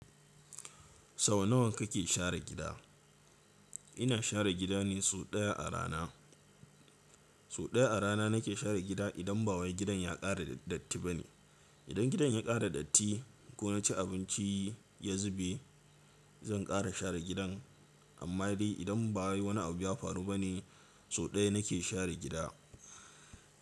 Sau nawa kake share gida? Ina share gida ne sau ɗaya a rana. Sau ɗaya a rana nake share gida idan ba wai gidan ya ƙara datti bane. Idan gidan ya ƙara datti ko na ci abinci ya zube, zan ƙara share gidan. Amma dai idan ba wai wani abu ya faru bane, sau ɗaya nake share gida.